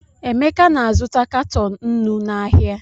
Emeka na-azụta katọn nnu n’ahịa.